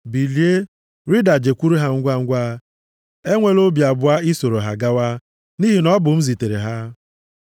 Bilie, rịda jekwuru ha ngwangwa, enwela obi abụọ ị soro ha gawa, nʼihi na ọ bụ m zitere ha.”